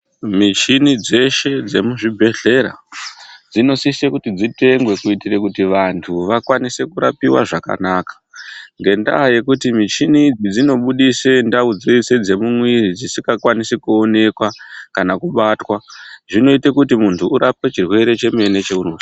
Michini dzeshe dzemuzvibhedhlera dzinosise kuti dzitengwe kuitire kuti vantu vakwanise kurapiwa zvakanaka. Ngendaa yekuti michini idzi dzinobudise ndau dzeshe dzemuwiri dzisingakwanisi kuonekwa kana kubatwa. Zvinoita kuti muntu urapwe chirwere chemene chaunozwa.